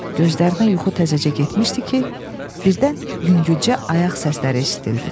Gözlərinə yuxu təzəcə getmişdi ki, birdən yüngülcə ayaq səsləri eşidildi.